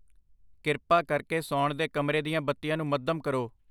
ਕਿਰਪਾ ਕਰਕੇ ਸੌਣ ਦੇ ਕਮਰੇ ਦੀਆਂ ਬੱਤੀਆਂ ਨੂੰ ਮੱਧਮ ਕਰੋ।